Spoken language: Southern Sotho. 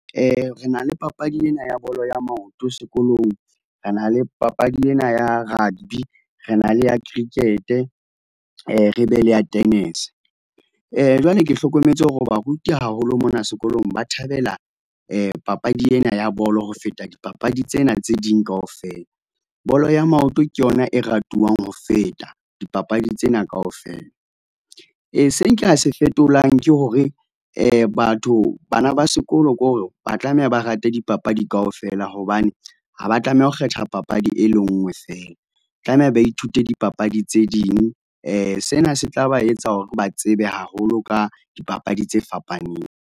Re na le papadi ena ya bolo ya maoto sekolong. Re na le papadi ena ya rugby, re na le ya cricket-e, re be le ya tennis. Jwale ke hlokometse hore baruti haholo mona sekolong, ba thabela papadi ena ya bolo ho feta dipapadi tsena tse ding kaofela. Bolo ya maoto ke yona e ratuwang ho feta dipapadi tsena kaofela. Se nka se fetolang ke hore batho, bana ba sekolo ko hore ba tlameha ba rate dipapadi kaofela hobane, ha ba a tlameha ho kgetha papadi e le nngwe feela. Tlameha ba ithute dipapadi tse ding , sena se tla ba etsa hore ba tsebe haholo ka dipapadi tse fapaneng.